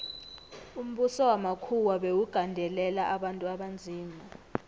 umbuso wamakhuwa bewugandelela abantu abanzima